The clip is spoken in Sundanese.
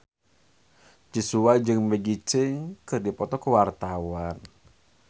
Joshua jeung Maggie Cheung keur dipoto ku wartawan